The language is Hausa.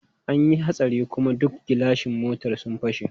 An yi hatsari kuma duk gilashin mota sun fashe.